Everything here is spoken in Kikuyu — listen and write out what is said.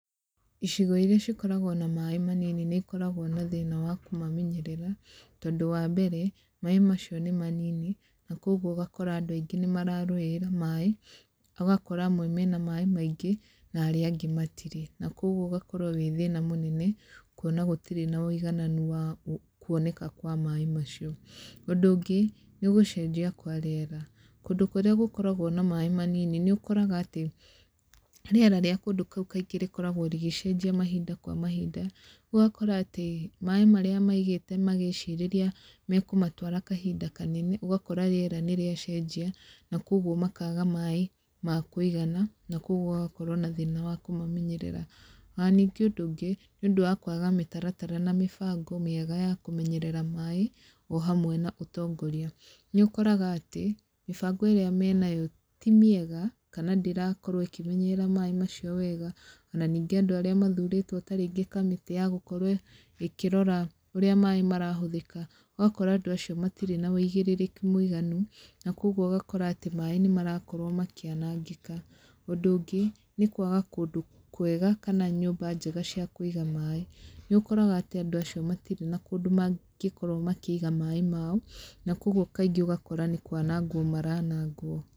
Icigo irĩa cikoragwo na maaĩ manini nĩ ikoragwo na thĩna wa kũmamenyerera, tondũ wa mbere, maaĩ macio nĩ manini, na koguo ũgakora andũ aingĩ nĩ mararũĩrĩra maaĩ. Ũgakora amwe mena maaĩ maingĩ, na arĩa angĩ matirĩ. Na koguo ũgakorwo wĩ thĩna mũnene, kuona gũtirĩ na wĩigananu wa kuoneka kwa maaĩ macio. Ũndũ ũngĩ, nĩ gũcenjia kwa rĩera. Kũndũ kũrĩa gũkoragwo na maaĩ manini, nĩ ũkoraga atĩ, rĩera rĩa kũndũ kũu kaingĩ rĩkoragwo rĩgĩcenjia mahinda kwa mahinda, ũgakora atĩ maaĩ marĩa maigĩte magĩcirĩria mekũmatwara kahinda kanene, ũgakora rĩera nĩ rĩacenjia, na koguo makaga maaĩ ma kũigana, na koguo gũgakorwo na thĩna wa kũmamenyerera. Ona ningĩ ũndũ ũngĩ, nĩ ũndũ wa kwaga mĩtaratara na mĩbango mĩega ya kũmenyerera maaĩ, o hamwe na ũtongoria. Nĩ ũkoraga atĩ, mĩbango ĩrĩa menayo ti mĩega, kana ndĩrakorwo ĩkĩmenyerera maaĩ macio wega, ona ningĩ andũ arĩa mathurĩtwo ta rĩngĩ kamĩtĩ ya gũkorwo ĩkĩrora ũrĩa maaĩ marahũthĩka, ũgakora andũ acio matirĩ wa wĩigĩrĩrĩki mũiganu, na koguo ũgakora atĩ maaĩ nĩ marakorwo makĩanangĩka. Ũndũ ũngĩ, nĩ kwaga kũndũ kwega, kana nyũmba njega cia kũiga maaĩ. Nĩ ũkoraga atĩ andũ acio matirĩ na kũndũ mangĩkorwo makĩiga maaĩ mao, na koguo kaingĩ ũgakora nĩ kwanangwo maranangwo.